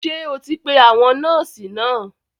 Ṣé o ti pe àwọn nọ́ọ̀sì náà?